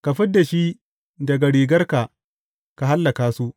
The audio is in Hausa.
Ka fid da shi daga rigarka ka hallaka su!